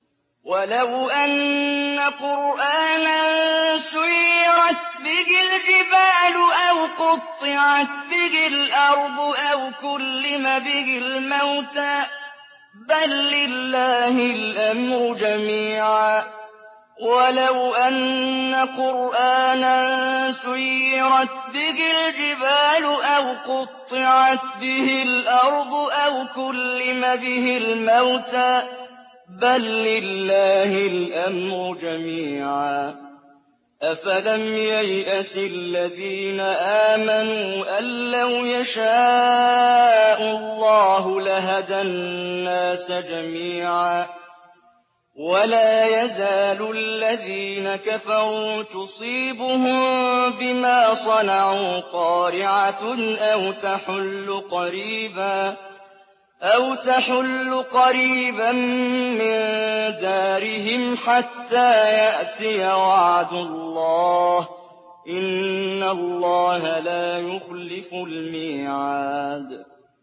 وَلَوْ أَنَّ قُرْآنًا سُيِّرَتْ بِهِ الْجِبَالُ أَوْ قُطِّعَتْ بِهِ الْأَرْضُ أَوْ كُلِّمَ بِهِ الْمَوْتَىٰ ۗ بَل لِّلَّهِ الْأَمْرُ جَمِيعًا ۗ أَفَلَمْ يَيْأَسِ الَّذِينَ آمَنُوا أَن لَّوْ يَشَاءُ اللَّهُ لَهَدَى النَّاسَ جَمِيعًا ۗ وَلَا يَزَالُ الَّذِينَ كَفَرُوا تُصِيبُهُم بِمَا صَنَعُوا قَارِعَةٌ أَوْ تَحُلُّ قَرِيبًا مِّن دَارِهِمْ حَتَّىٰ يَأْتِيَ وَعْدُ اللَّهِ ۚ إِنَّ اللَّهَ لَا يُخْلِفُ الْمِيعَادَ